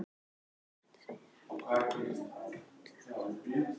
Hann segist hafa farið út á hálar brautir í ástamálum.